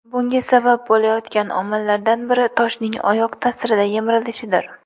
Bunga sabab bo‘layotgan omillardan biri toshning oyoq ta’sirida yemirilishidir.